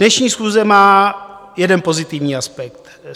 Dnešní schůze má jeden pozitivní aspekt.